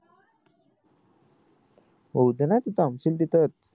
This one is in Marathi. येऊ दे ना तू थांबशील तिथं च